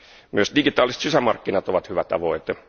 Myös digitaaliset sisämarkkinat ovat hyvä tavoite.